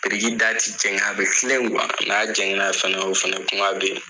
Biriki da ti jɛgɛn a bi kile n'a jɛgɛn na fana o fana kuma be yen.